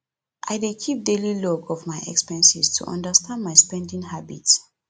i dey keep daily log of my expenses to understand my spending habits